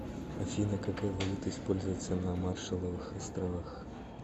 афина какая валюта используется на маршалловых островах